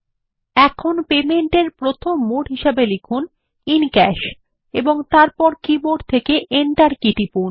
এখন পেমেন্ট এর প্রথম মোড টাইপ করি ক্যাশহিসাবেএবং তারপর এর কীবোর্ড থেকে এন্টার কী টিপুন